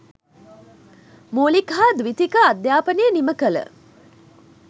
මූලික හා ද්විතීක අධ්‍යාපනය නිම කළ